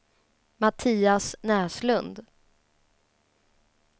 Mattias Näslund